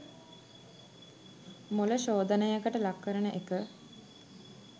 මොළ ශෝධනයකට ලක් කරන එක